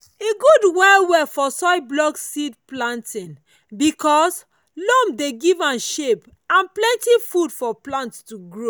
e good well well for soil block seed planting because loam dey give am shape and plenty food for plant to grow.